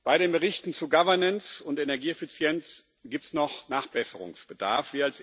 Bei den Berichten zu Governance und Energieeffizienz gibt es noch Nachbesserungsbedarf.